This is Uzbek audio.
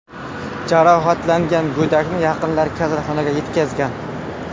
Jarohatlangan go‘dakni yaqinlari kasalxonaga yetkazgan.